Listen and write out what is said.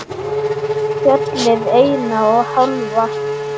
Fjallið eina og hálfa.